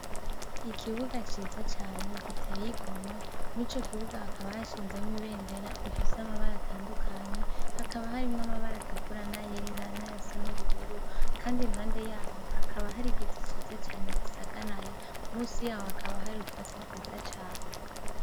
Ikibuga ciza cane giteye igomwe! Mw'ico kibuga hakaba hashinzemwo ibendera ifise amabara atandukanye, hakaba harimwo amabara atukura n'ayera n'ayasa n'ubururu, kandi impande yaho hakaba hari igiti ciza cane gisagaraye, musi yaho hakaba hari utwatsi twiza cane.